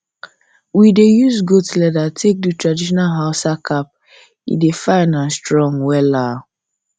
we dey use goat leather take do traditional hausa cap e dey fine and strong wella